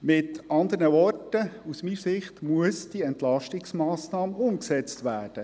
Mit anderen Worten: Aus meiner Sicht muss diese Entlastungsmassnahme umgesetzt werden.